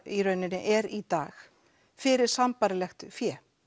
í rauninni er í dag fyrir sambærilegt fé